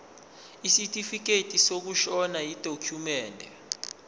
isitifikedi sokushona yidokhumende